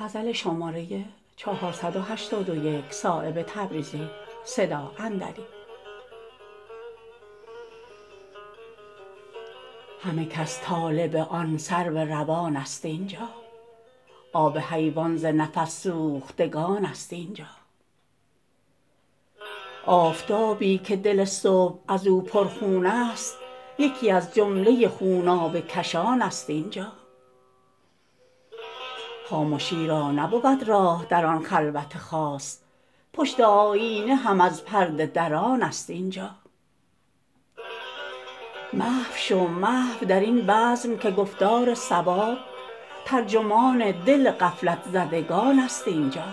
همه کس طالب آن سرو روان است اینجا آب حیوان ز نفس سوختگان است اینجا آفتابی که دل صبح ازو پر خون است یکی از جمله خونابه کشان است اینجا خامشی را نبود راه در آن خلوت خاص پشت آیینه هم از پرده دران است اینجا محو شو محو درین بزم که گفتار صواب ترجمان دل غفلت زدگان است اینجا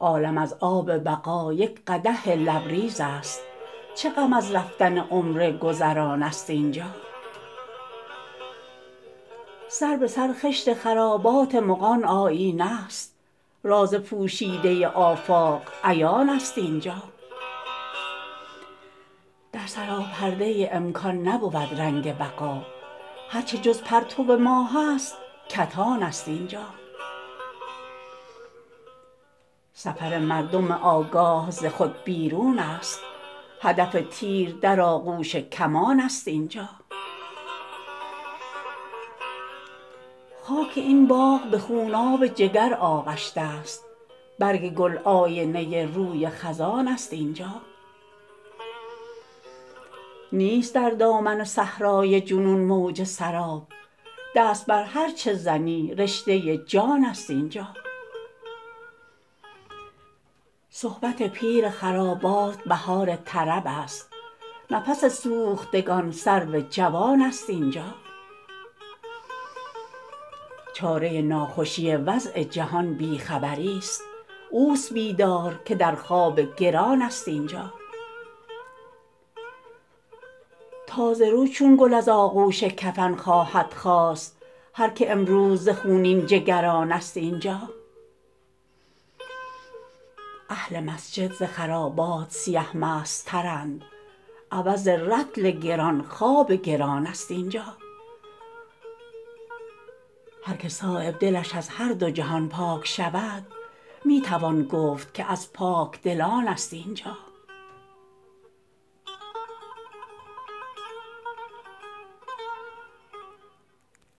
عالم از آب بقا یک قدح لبریزست چه غم از رفتن عمر گذران است اینجا سر به سر خشت خرابات مغان آیینه است راز پوشیده آفاق عیان است اینجا در سراپرده امکان نبود رنگ بقا هر چه جز پرتو ماه است کتان است اینجا سفر مردم آگاه ز خود بیرون است هدف تیر در آغوش کمان است اینجا خاک این باغ به خوناب جگر آغشته است برگ گل آینه روی خزان است اینجا نیست در دامن صحرای جنون موج سراب دست بر هر چه زنی رشته جان است اینجا صحبت پیر خرابات بهار طرب است نفس سوختگان سرو جوان است اینجا چاره ناخوشی وضع جهان بی خبری است اوست بیدار که در خواب گران است اینجا تازه رو چون گل از آغوش کفن خواهد خاست هر که امروز ز خونین جگران است اینجا اهل مسجد ز خرابات سیه مست ترند عوض رطل گران خواب گران است اینجا هر که صایب دلش از هر دو جهان پاک شود می توان گفت که از پاکدلان است اینجا